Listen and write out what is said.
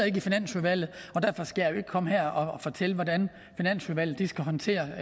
ikke i finansudvalget og derfor skal jeg jo ikke komme her og fortælle hvordan finansudvalget skal håndtere